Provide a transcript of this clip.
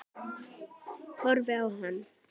Horfi á hann.